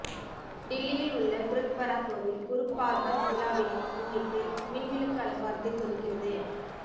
டில்லியில் உள்ள குருத்வரா கோவில் குரு பார்வ் விழாவினை முன்னிட்டு மின் விளக்கு அலங்காரத்தில் ஜொலிக்கிறது